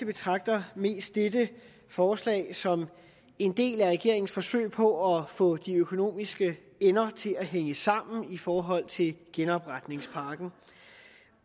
betragter mest dette forslag som en del af regeringens forsøg på at få de økonomiske ender til at hænge sammen i forhold til genopretningspakken